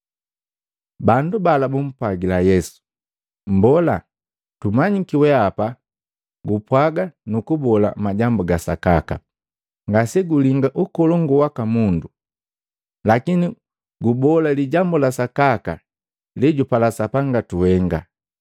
Bandu bala bumpwagila Yesu, “Mbola, tumanyiki weapa gupwaga nukubola majambu gasakaka, ngasegulinga ukolongu waka mundu, lakini gubola lijambu la sakaka lejupala Sapanga tuhenga.